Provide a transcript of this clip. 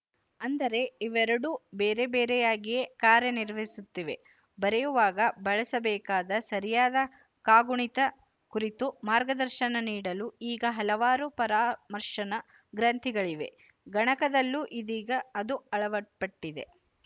ಅಂದರೆ ಇವೆರಡೂ ಬೇರೆ ಬೇರೆಯಾಗಿಯೇ ಕಾರ್ಯನಿರ್ವಹಿಸುತ್ತಿವೆ ಬರೆಯುವಾಗ ಬಳಸಬೇಕಾದ ಸರಿಯಾದ ಕಾಗುಣಿತ ಕುರಿತು ಮಾರ್ಗದರ್ಶನ ನೀಡಲು ಈಗ ಹಲವಾರು ಪರಾಮರ್ಶನ ಗ್ರಂಥಗಳಿವೆ ಗಣಕದಲ್ಲೂ ಇದೀಗ ಅದು ಅಳಪಟ್ಟಿದೆ